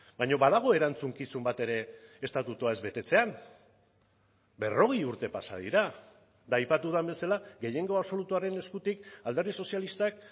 baina badago erantzukizun bat ere estatutua ez betetzean berrogei urte pasa dira eta aipatu den bezala gehiengo absolutuaren eskutik alderdi sozialistak